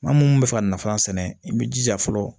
Maa munnu bɛ fɛ ka nafa sɛnɛ i bɛ jija fɔlɔ